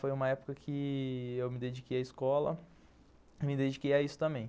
Foi uma época que eu me dediquei à escola e me dediquei a isso também.